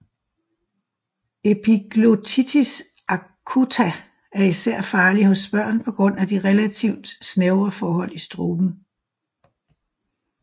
Epiglottitis acuta er især farlig hos børn på grund af de relativt snævre forhold i struben